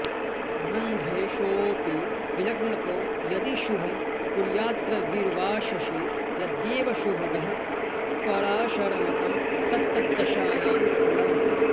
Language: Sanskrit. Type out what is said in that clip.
रन्ध्रेशोऽपि विलग्नपो यदि शुभं कुर्याद्रविर्वा शशी यद्येवं शुभदः पराशरमतं तत्तद्दशायां फलम्